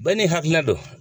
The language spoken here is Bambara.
Bɛɛ ni hakilina don.